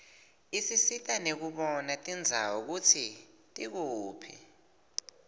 isisita nekubona tindzawo kutsi tikuphi